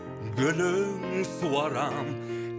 гүлін суарам